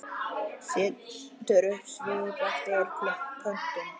Setur upp svip eftir pöntun.